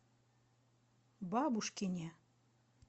бабушкине